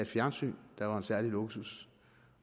fjernsyn der var en særlig luksus